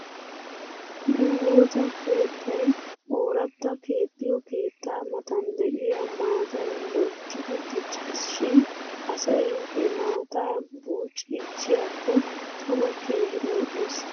Nu woosa keettay ooratta keexxiyoo keettaa matan de'iyaa maatay loyttidi diccis shin asay he maataa buuciichchiyaakko tana keehi lo'es .